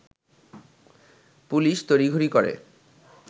police তড়িঘড়ি করে